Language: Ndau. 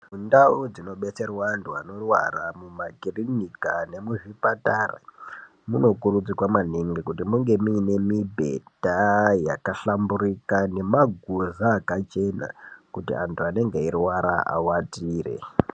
Kundau kunobetserwa antu anorwara mumakirinika nemuzvipatara munokurudzirwa maningi kuti munge muine mibhedha yakahlamburika nemaguza akachena kuti antu anenge eirwara awatire.